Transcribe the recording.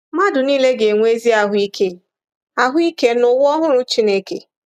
Mmadụ nile ga-enwe ezi ahụ ike ahụ ike n’ụwa ọhụrụ Chineke.